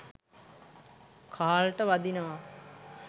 කාල්ට වදිනවා